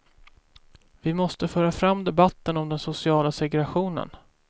Vi måste föra fram debatten om den sociala segregationen.